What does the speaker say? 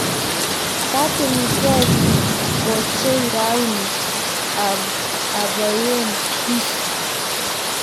katilgei koeche rauni aboiaien kisu